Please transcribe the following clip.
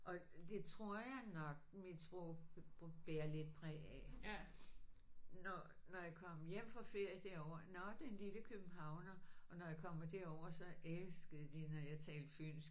Og det tror jeg nok mit sprog må bære lidt præg af. Når når jeg kom hjem fra ferie derovre nåh den lille københavner og når jeg kommer derover så elskede de når jeg talte fynsk